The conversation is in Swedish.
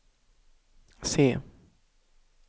se